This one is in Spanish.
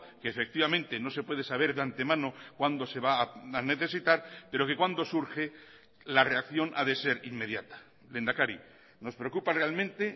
que efectivamente no se puede saber de antemano cuándo se va a necesitar pero que cuando surge la reacción ha de ser inmediata lehendakari nos preocupa realmente